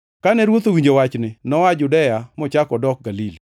Kane Ruoth owinjo wachni, noa Judea mochako odok Galili.